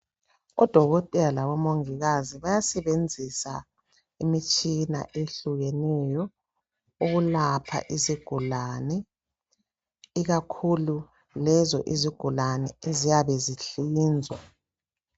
Odokotela labomungikazi bayasenzisa imitshina ehlukeneyo ukulapha izigulane, ikakhulu lezo izigulane eziyabe zihlinzwa.